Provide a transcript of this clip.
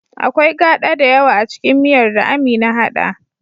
Akwai gada dayawa acikin miyar da Amina hada